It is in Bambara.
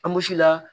Anbusi la